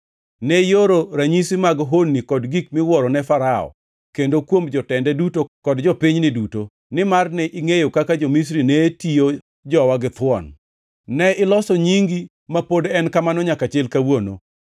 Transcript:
Ne ioro ranyisi mag honni kod gik miwuoro ne Farao, kendo kuom jotende duto kod jopinyni duto, nimar ne ingʼeyo kaka jo-Misri ne tiyo jowa githuon. Ne iloso nyingi, ma pod en kamano nyaka chil kawuono.